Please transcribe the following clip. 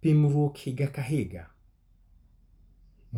Pimruok higa ka higa,